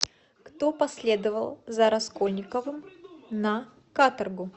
кто последовал за раскольниковым на каторгу